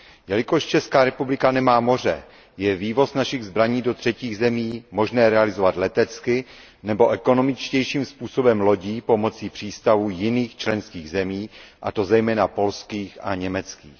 Jelikož Česká republika nemá moře, je vývoz našich zbraní do třetích zemí možné realizovat letecky, nebo ekonomičtějším způsobem lodí pomocí přístavů jiných členských zemí, a to zejména polských a německých.